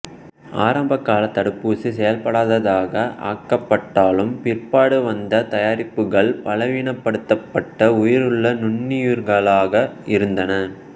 ஆரம்பகால தடுப்பூசி செயல்படாததாக ஆக்கபட்டாலும் பிற்பாடு வந்த தயாரிப்புகள் பலவீனபடுத்தபட்ட உயிருள்ள நுண்ணுயிர்களாக இருந்தன